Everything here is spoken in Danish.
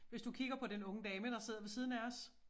Hvis du kigger på den unge dame der sidde ved siden af os